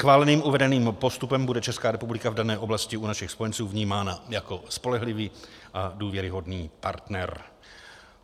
Schváleným uvedeným postupem bude Česká republika v dané oblasti u našich spojenců vnímána jako spolehlivý a důvěryhodný partner.